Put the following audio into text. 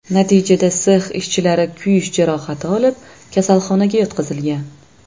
Natijada sex ishchilari kuyish jarohati olib, kasalxonaga yotqizilgan.